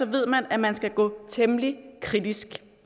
ved man at man skal gå temmelig kritisk